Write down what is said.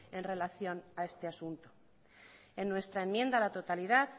en relación a este asunto en nuestra enmienda a la totalidad